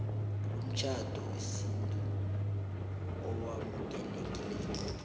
umtjhado wesintu owamukelekako